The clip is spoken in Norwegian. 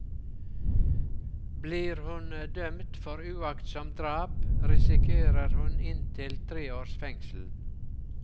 Blir hun dømt for uaktsomt drap, risikerer hun inntil tre års fengsel.